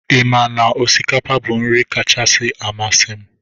Ị ma na osikapa bụ nri kacha amasị m?